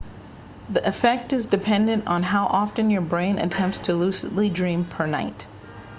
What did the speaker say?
the effect is dependent on how often your brain attempts to lucidly dream per night